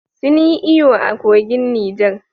Sun yi iyo a kogin Niger